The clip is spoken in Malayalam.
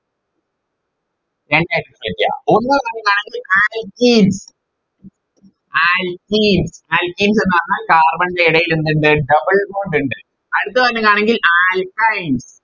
രണ്ടായിട്ട് Split ചെയ്യാം ഒന്ന് ന്ന് പറയുവാണെങ്കിൽ Alkene alkene Alkenes ന്ന് പറഞ്ഞാൽ Carbon ൻറെ ഏടയിൽ എന്തുണ്ട് Double bond ഇണ്ട് അടുത്തങ്ങനെയാണെങ്കിൽ Alkine